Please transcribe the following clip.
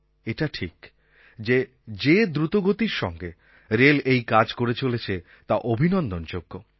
এটা ঠিক যে যে দ্রুতগতির সঙ্গে রেল এই কাজ করে চলেছে তা অভিনন্দনযোগ্য